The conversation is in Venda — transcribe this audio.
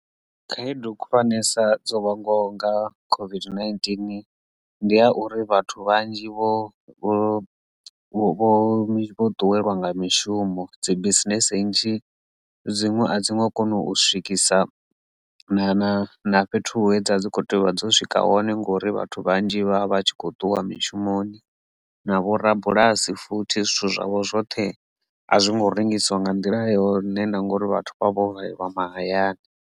Khaedu khulwanesa dzo vhononga COVID-19 ndi ya uri vhathu vhanzhi vho vho ṱuwelwa nga mishumo, dzi bisinese nnzhi dziṅwe a dziṅwe kona u swikisa na na fhethu hedzo dzi kho tea u vha dzo swika hone ngori vhathu vhanzhi vha vha tshi kho ṱuwa mishumoni na vho rabulasi futhi zwithu zwavho zwoṱhe a zwi ngo rengisiwa nga nḓila yone na ngori vhathu vha vho valelwa mahayani.